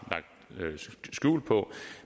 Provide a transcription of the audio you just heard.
lagt skjul på